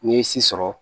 N'i ye si sɔrɔ